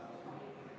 Aitäh, hea eesistuja!